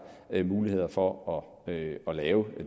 mulighed for at lave